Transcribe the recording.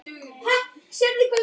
Fyrr en nýlega.